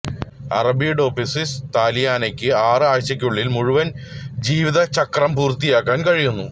Arabidopsis താലിയാനയ്ക്ക് ആറ് ആഴ്ചയ്ക്കുള്ളിൽ മുഴുവൻ ജീവിതചക്രം പൂർത്തിയാക്കാൻ കഴിയുന്നു